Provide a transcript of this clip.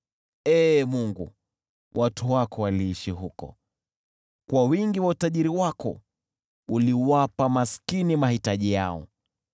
Ee Mungu, watu wako waliishi huko, nawe kwa wingi wa utajiri wako uliwapa maskini mahitaji yao.